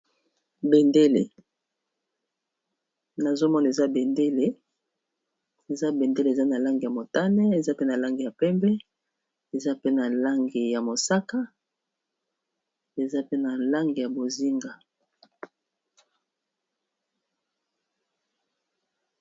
Bendele, nazo mona eza bendele. Eza bendele eza na langi ya motane, eza pe na langi ya pembe, eza pe na langi ya mosaka eza pe na lang ya bozinga.